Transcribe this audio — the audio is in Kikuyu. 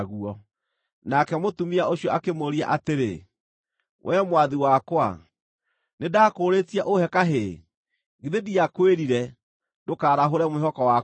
Nake mũtumia ũcio akĩmũũria atĩrĩ, “Wee mwathi wakwa, nĩndakũũrĩtie ũhe kahĩĩ? Githĩ ndiakwĩrire, ‘Ndũkarahũre mwĩhoko wakwa’?”